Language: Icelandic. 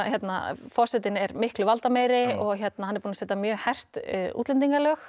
forsetinn er miklu valdameiri og hann er búinn að setja mjög hert útlendingalög